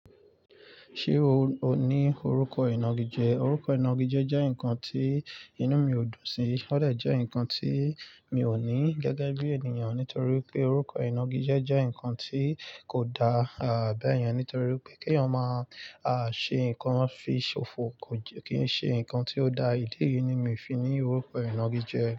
Ṣé o ní orúkọ ìnagijẹ? Orúkọ ìnagijẹ jẹ́ nǹkan tí inú mi ò dùn sí. Ó dè jẹ́ nǹkan tí mi ò ní gẹ́gẹ́ bí ènìyàn nítorí pé orúkọ ìnagijẹ jẹ́ nǹkan tí kò da, à beyen, nítorí pé kèèyàn máa a ṣe nǹkan fi ṣòfò kì í ṣe nǹkan tí ó da. Ìdí yìí ni mi i fi ní orúkọ ìnagijẹ.